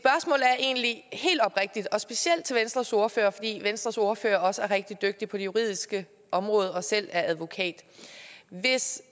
er egentlig helt oprigtigt og specielt til venstres ordfører fordi venstres ordfører også er rigtig dygtig på det juridiske område og selv er advokat hvis